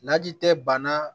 Laji tɛ bana